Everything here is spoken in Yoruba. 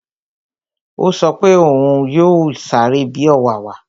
Ó sọ pé òún yóò sáré bi ọ̀wàwà